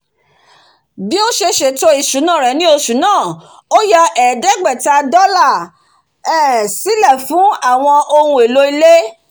bí ó se sètò ètò ìsúná rè ní osù náà ó ya èédégbèta dólà um sílè fún àwon ohun èlò ilé